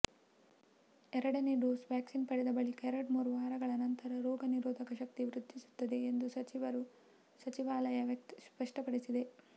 ಎರಡನೇ dose vaccine ಪಡೆದ ಬಳಿಕ ಎರಡ್ಮೂರು ವಾರಗಳ ನಂತರ ರೋಗ ನಿರೋಧಕ ಶಕ್ತಿ ವೃದ್ಧಿಸುತ್ತದೆ ಎಂದು ಸಚಿವಾಲಯ ಸ್ಪಷ್ಟಪಡಿಸಿದೆ